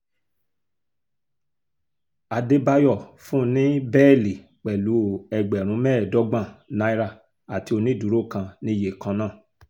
àdébáyọ̀ fún un ní bẹ́ẹ́lí pẹ̀lú ẹgbẹ̀rún mẹ́ẹ̀ẹ́dọ́gbọ̀n náírà àti onídùúró kan níye kan náà